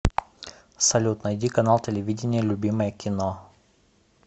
салют найди канал телевидения любимое кино